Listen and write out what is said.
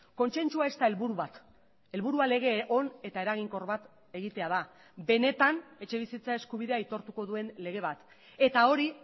kontzentzua ez da helburu bat helburua lege on eta eraginkor bat egitea da benetan etxebizitza eskubidea aitortuko duen lege bat eta hori